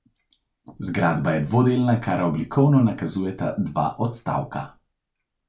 Zgradba je dvodelna, kar oblikovno nakazujeta dva odstavka.